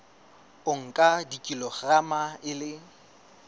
o nka kilograma e le